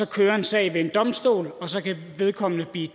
køre en sag ved en domstol og så kan vedkommende blive